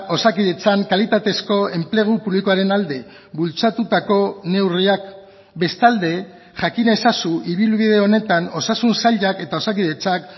osakidetzan kalitatezko enplegu publikoaren alde bultzatutako neurriak bestalde jakin ezazu ibilbide honetan osasun sailak eta osakidetzak